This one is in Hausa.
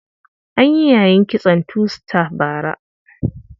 An yi yayin kitson two star bara.